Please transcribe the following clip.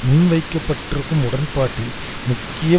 முன்வைக்கப்பட்டிருக்கும் உடன்பாட்டில் முக்கிய